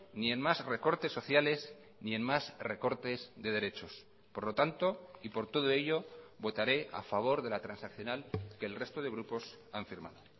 ni en más recortes sociales ni en más recortes de derechos por lo tanto y por todo ello votaré a favor de la transaccional que el resto de grupos han firmado